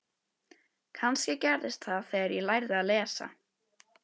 Kannski gerðist það þegar ég lærði að lesa.